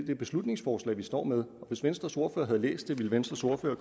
det beslutningsforslag vi står med og hvis venstres ordfører havde læst det ville venstres ordfører